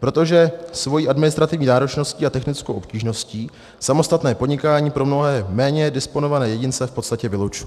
protože svojí administrativní náročností a technickou obtížností samostatné podnikání pro mnohé méně disponované jedince v podstatě vylučuje.